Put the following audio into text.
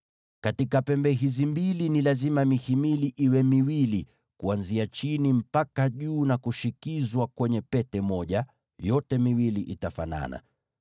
Katika pembe hizi mbili ni lazima mihimili yake iwe miwili kuanzia chini mpaka juu, na iingizwe kwenye pete moja; mihimili ya pembe hizi mbili itafanana.